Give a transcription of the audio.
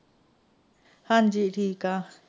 ਹਾਜ਼ੀ ਠੀਕ ਹਾਂ।